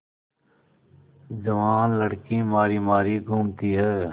जवान लड़की मारी मारी घूमती है